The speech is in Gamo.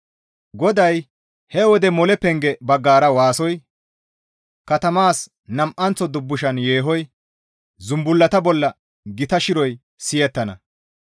GODAY, «He wode mole penge baggara waasoy, katamaas nam7anththo dubbushan yeehoy, zumbullata bolla gita shiroy siyettana.